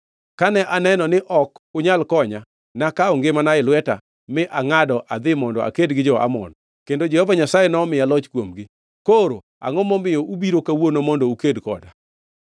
Kane aneno ni ok unyal konya, nakawo ngimana e lweta mi angʼado adhi mondo aked gi jo-Amon, kendo Jehova Nyasaye nomiya loch kuomgi. Koro, angʼoma omiyo ubiro kawuono mondo uked koda?